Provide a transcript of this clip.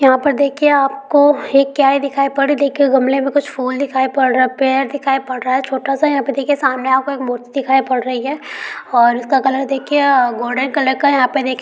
यहाँ पर देखिए आपको एक क्यारी दिखाई पद रही है गमले में कुछ फुल दिखाई पर रहा है पेड़ दिखाई पर रहा है छोटा सा यहाँ पे देखिए सामने आपको एक मूर्ति दिखाई पर रही है और उसका कलर देखिए गोल्डन कलर का है।